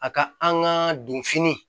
A ka an ka donfini